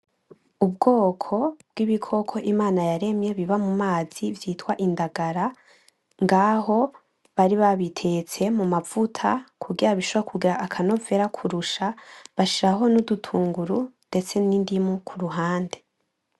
Ubwoko bw' ibikoko imana yaremye biba mumazi vyitwa indagara, ngaho bari babitetse mumavuta kugira bishobore kugira akanovera kurusha bashiraho ni udutunguru ndetse n' indimu kuruhande.